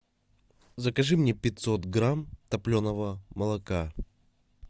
закажи мне пятьсот грамм топленого молока